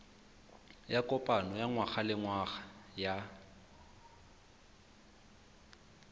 ya kopano ya ngwagalengwaga ya